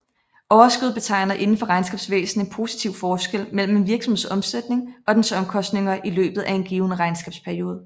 Overskud betegner indenfor regnskabsvæsen en positiv forskel mellem en virksomheds omsætning og dens omkostninger i løbet af en given regnskabsperiode